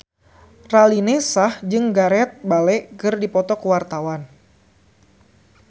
Raline Shah jeung Gareth Bale keur dipoto ku wartawan